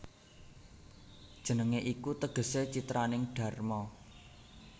Jenengé iku tegesé citraning dharma